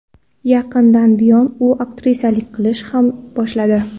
Yaqindan buyon u aktrisalik qilishni ham boshladi.